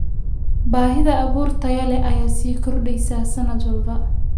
Baahida abuur tayo leh ayaa sii kordheysa sanad walba.